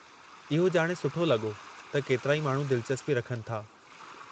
इहो ॼाणे सुठो लॻो त केतिराई माण्हू दिलचस्पी रखनि था।